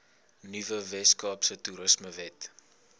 nuwe weskaapse toerismewet